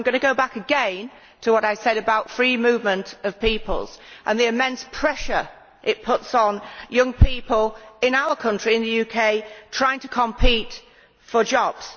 I am also going to go back again to what I said about the free movement of people and the immense pressure it puts on young people in our country, the UK, trying to compete for jobs.